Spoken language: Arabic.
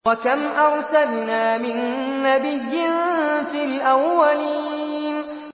وَكَمْ أَرْسَلْنَا مِن نَّبِيٍّ فِي الْأَوَّلِينَ